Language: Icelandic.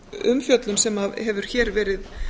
umfjöllun sem hefur hér verið